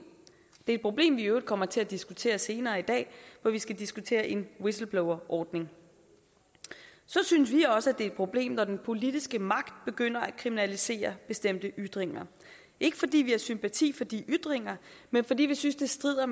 det problem vi i øvrigt kommer til at diskutere senere i dag hvor vi skal diskutere en whistleblowerordning så synes vi også et problem når den politiske magt begynder at kriminalisere bestemte ytringer ikke fordi vi har sympati for de ytringer men fordi vi synes det strider